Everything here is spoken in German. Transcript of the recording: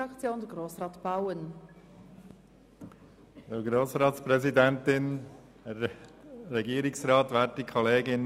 Lieber Grossrat Zaugg, als Erstes muss ich die Totgeburt zurückweisen.